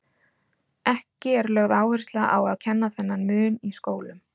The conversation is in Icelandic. Ekki er lögð áhersla á að kenna þennan mun í skólum.